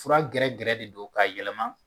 Fura gɛrɛgɛrɛ de don k'a yɛlɛma